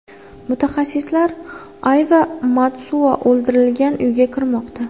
Mutaxassislar Ayva Matsuo o‘ldirilgan uyga kirmoqda.